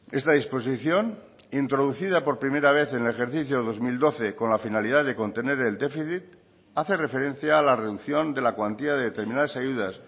esta disposición introducida por primera vez en el ejercicio dos mil doce con la finalidad de contener el déficit hace referencia a la reducción de la cuantía de determinadas ayudas